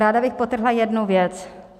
Ráda bych podtrhla jednu věc.